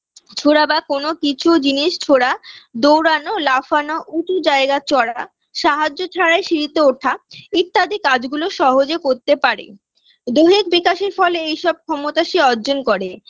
ছোঁড়া বা কোনো কিছু জিনিস ছোঁড়া দৌড়ানো, লাফানো উঁচু জায়গায় চড়া সাহায্য ছাড়াই সিঁড়িতে ওঠা ইত্যাদি কাজগুলো সহজে করতে পারে দৈহিক বিকাশের ফলে সে এইসব ক্ষমতা সে অর্জন করে